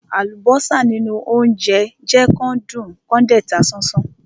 Àlùbọ́sà nínú óńjẹ jẹ́ kán dùn kán dẹ̀ ta sánsán.